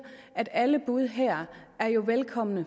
at alle bud her jo er velkomne